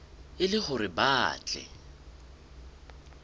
e le hore ba tle